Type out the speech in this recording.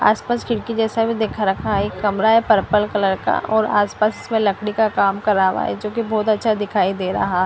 आसपास खिडकी जैसा बी दिख रखा हैं एक कमरा हैं पर्पल कलर का और आस पास लकडी का काम करावा हैं जो की बहुत अच्छा दिखाई दे रहा हैं --